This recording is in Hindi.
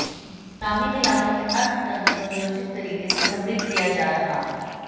ग्रामीण इलाकों में अर्थ तंत्र को नियोजित तरीके से समृद्ध किया जा रहा